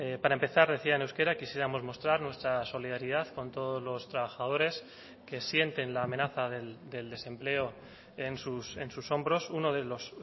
para empezar decía en euskera quisiéramos mostrar nuestra solidaridad con todos los trabajadores que sienten la amenaza del desempleo en hombros uno de los